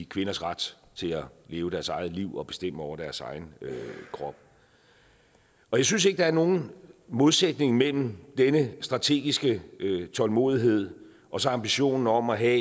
kvinders ret til at leve deres eget liv og bestemme over deres egen krop jeg synes ikke at der er nogen modsætning mellem denne strategiske tålmodighed og så ambitionen om at have